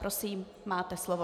Prosím, máte slovo.